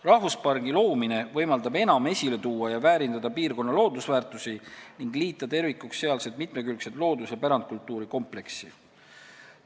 Rahvuspargi loomine võimaldab enam esile tuua ja väärindada piirkonna loodusväärtusi ning liita tervikuks sealse mitmekülgse loodus- ja pärandkultuuri kompleksi.